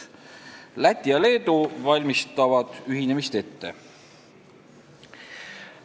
Läti ja Leedu valmistavad ühinemist ette.